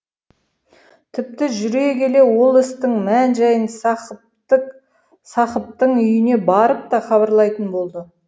тіпті жүре келе ол істің мән жайын сақыптың үйіне барып та хабарлайтын болды